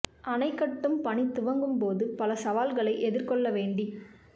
அணை கட்டும் பணி துவங்கும் போது பல சவால்களை எதிர்கொள்ள வேண்டி